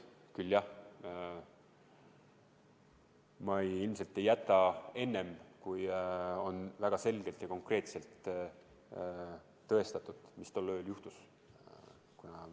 Küll, jah, ma ilmselt ei jäta enne, kui on väga selgelt ja konkreetselt tõestatud, mis tol ööl juhtus.